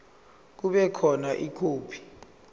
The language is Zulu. kube khona ikhophi